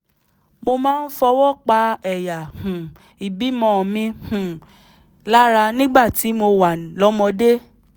mo máa ń fọwọ́ pa ẹ̀yà um ìbímọ mi um lára nígbà tí mo wà lọ́mọdé